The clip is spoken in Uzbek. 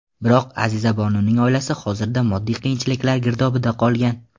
Biroq, Azizabonuning oilasi hozirda moddiy qiyinchiliklar girdobida qolgan.